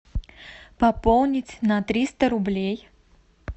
пополнить на триста рублей